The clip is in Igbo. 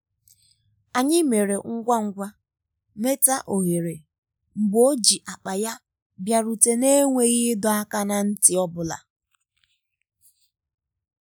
anyị mere ngwa ngwa meta ohere mgbe o ji akpa ya bịarutere n'enweghị ịdọ aka ná ntị ọ bụla.